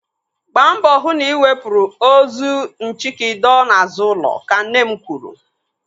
Gbaa mbọ hụ na ị wepụrụ ozu nchiki dọọ n'azụ ụlọ. Ka nne m kwuru.